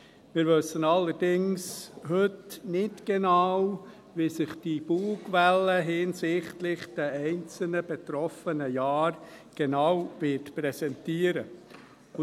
Wir wissen allerdings heute nicht genau, wie sich diese Bugwelle hinsichtlich der einzelnen betroffenen Jahre genau präsentieren wird.